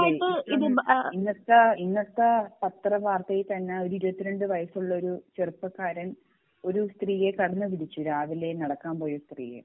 അതെ ഇപ്പോം ഇന്നത്തെ ഇന്നത്തെ പത്ര വാർത്തയിൽ തന്നെ ഓർ ഇരുപത്തി രണ്ട് വയസ്സുള്ള ഒരു ചെറുപ്പക്കാരൻ ഒരു സ്ത്രീയെ കടന്നു പിടിച്ചു രാവിലെ നടക്കാൻ പോയ സ്ത്രീയെ